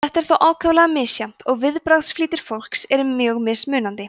þetta er þó ákaflega misjafnt og viðbragðsflýtir fólks er mjög mismunandi